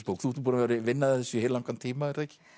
bók þú ert búin að vinna að þessu í heillangan tíma